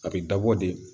A bɛ dabɔ de